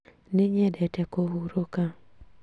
Nĩnyendete kũhurũka